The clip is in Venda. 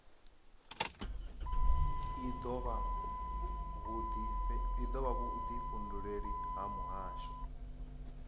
i dovha vhudifhinduleleli ha muhasho